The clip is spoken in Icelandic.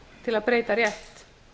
til að breyta rétt